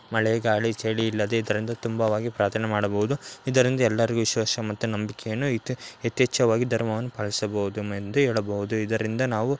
ಮಳೆ ಗಲಿ ಚಳಿ ಇಲ್ಲದೆ ಇದರಿಂದ ತುಂಬಾವಾಗಿ ಪ್ರಾಥನೆ ಮಾಡಬಹುದು ಇದರಿಂದ ಎಲ್ಲರಿಗು ವಿಶ್ವಾಸ ಮತ್ತು ನಂಬಿಕೆನು ಐತೆ ಎತೆಚ್ಚವಾಗಿ ಧರ್ಮವನ್ನು ಪಾಲಿಸಬಹುದು ಎಂದು ಹೆಳಬಹುದು ನಾವು .